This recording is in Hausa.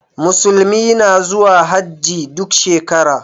Musulmi na zuwa Hajji duk shekara.